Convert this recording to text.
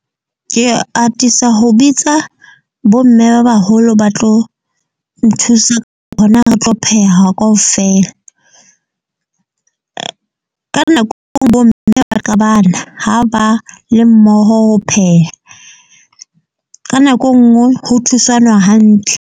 Ke atisa ho bitsa bo mme ba baholo ba tlo nthusa ho na ho tlo pheha ka ofela. Ka nako engwe bo mme ba qabana ha ba le mmoho ho pheha. Ka nako engwe ho thusanwa hantle.